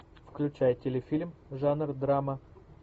включай телефильм жанр драма